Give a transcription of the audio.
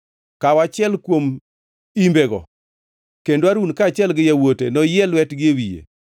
“Kaw achiel kuom imbego kendo Harun kaachiel gi yawuote noyie lwetgi e wiye.